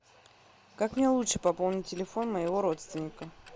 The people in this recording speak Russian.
как мне лучше пополнить телефон моего родственника